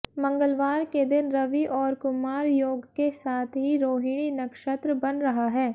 मंगलवार के दिन रवि और कुमार योग के साथ ही रोहिणी नक्षत्र बन रहा है